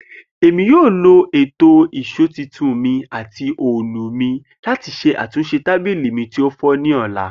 Emi yoo lo eto ìṣó tuntun mi ati òòlù mi lati ṣe atunṣe tabili mi ti o fọ ni ọla.